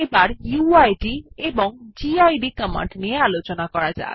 এখন উইড এবং gid command নিয়ে আলোচনা করা যাক